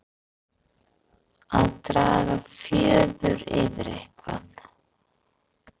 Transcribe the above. Að draga fjöður yfir eitthvað